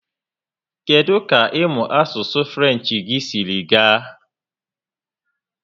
Kedụ ka ịmụ asụsụ French gị siri gaa?